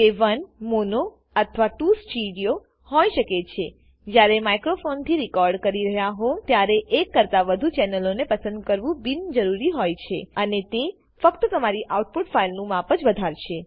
તે 1 અથવા 2 હોય શકે છેજયારે માઈક્રોફોનથી રેકોર્ડ કરી રહ્યા હોય ત્યારે એક કરતા વધુ ચેનલો ને પસંદ કરવું બિન જરૂરી હોય છે અને તે ફક્ત તમારી આઉટપુટ ફાઈલનું માપ જ વધારશે